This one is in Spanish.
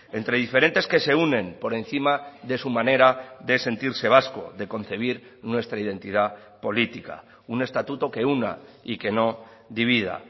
entre diferentes que se unen por encima de su manera de sentirse vasco de concebir nuestra identidad política un estatuto que una y que no divida